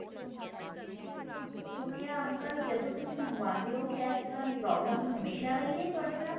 uncle ਜਦੋ ਤੁਸੀਂ ਮੰਗਵਾਦੇ ਹੋ ਕਿਆ ਇਸ ਤਰਾ ਦੀ problem ਹਮੇਸਾ ਰਹੀ ਏ ਤੁਹਾਡੇ ਨਾਲ